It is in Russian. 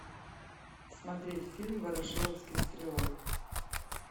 смотреть фильм ворошиловский стрелок